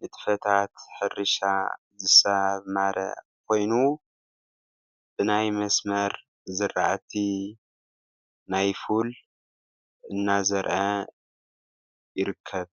ንጥፈታት ሕርሻ ዝሳማረ ኮይኑ ብናይ መስመር ዝራእቲ ናይ ፉል እናዘርአ ይርከብ።